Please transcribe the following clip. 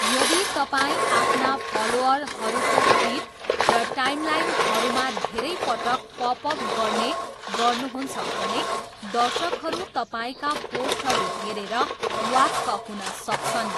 यदि तपाईँ आफ्ना फलोअरहरूको फिड र टाइमलाइनहरूमा धेरै पटक पपअप गर्ने गर्नुहुन्छ भने दर्शकहरू तपाईँका पोस्टहरू हेरेर वाक्क हुन सक्छन्।